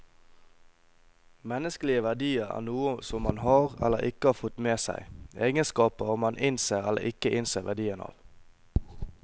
Menneskelige verdier er noe som man har, eller ikke har fått med seg, egenskaper man innser eller ikke innser verdien av.